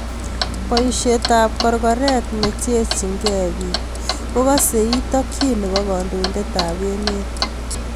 Bayiisyetab korkoreet necherchinkey biik kokase iit takyin nebo kandoindetab emet